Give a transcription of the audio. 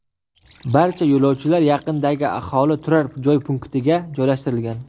Barcha yo‘lovchilar yaqindagi aholi turar joy punktiga joylashtirilgan.